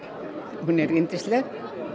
hún er yndisleg